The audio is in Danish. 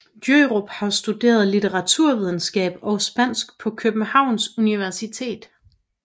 Djørup har studeret litteraturvidenskab og spansk på Københavns Universitet